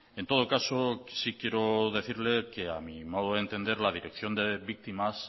en todo caso sí quiero decirle que a mi modo de entender la dirección de víctimas